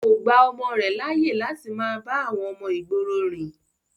kò gba ọmọ rẹ̀ láyè láti máa bá àwọn ọmọ ìgboro rìn